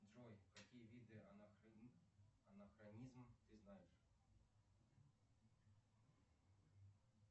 джой какие виды анахронизм ты знаешь